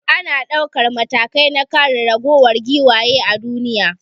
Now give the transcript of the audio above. Ana daukan matakai na kare raguwar giwaye a duniya.